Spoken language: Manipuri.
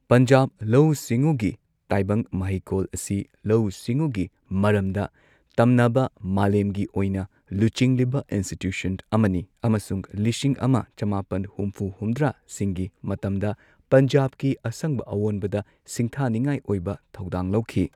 ꯄꯟꯖꯥꯕ ꯂꯧꯎ ꯁꯤꯡꯎꯒꯤ ꯇꯥꯏꯕꯪ ꯃꯍꯩꯀꯣꯜ ꯑꯁꯤ ꯂꯧꯎ ꯁꯤꯡꯎꯒꯤ ꯃꯔꯝꯗ ꯇꯝꯅꯕ ꯃꯥꯂꯦꯝꯒꯤ ꯑꯣꯏꯅ ꯂꯨꯆꯤꯡꯂꯤꯕ ꯏꯟꯁꯇꯤꯇ꯭ꯌꯨꯁꯟ ꯑꯃꯅꯤ ꯑꯃꯁꯨꯡ ꯂꯤꯁꯤꯡ ꯑꯃ ꯆꯃꯥꯄꯟ ꯍꯨꯝꯐꯨ ꯍꯨꯝꯗ꯭ꯔꯥ ꯁꯤꯡꯒꯤ ꯃꯇꯝꯗ ꯄꯟꯖꯥꯕꯀꯤ ꯑꯁꯪꯕ ꯑꯋꯣꯟꯕꯗ ꯁꯤꯡꯊꯥꯅꯤꯉꯥꯏ ꯑꯣꯏꯕ ꯊꯧꯗꯥꯡ ꯂꯧꯈꯤ꯫